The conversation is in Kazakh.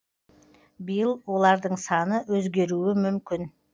биыл олардың саны өзгеруі мүмкін